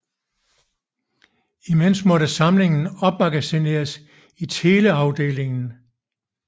Imens måtte samlingen opmagasineres i teleafdelingen